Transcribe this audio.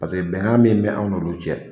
bɛnkan min bɛ anw n'olu cɛ